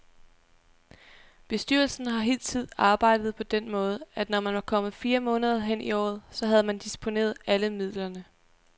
Bestyrelsen har hidtil arbejdet på den måde, at når man var kommet fire måneder hen i året, så havde man disponeret alle midlerne.